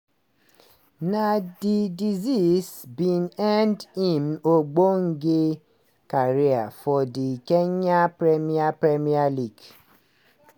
na di disease bin end im ogbonge career for di kenyan premier premier league.